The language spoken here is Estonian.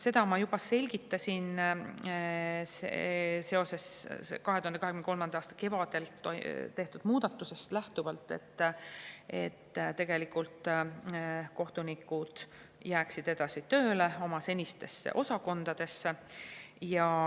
" Seda ma juba selgitasin seoses 2023. aasta kevadel tehtud muudatusega: tegelikult kohtunikud jäävad edasi tööle oma senistesse osakondadesse.